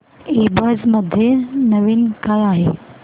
ईबझ मध्ये नवीन काय आहे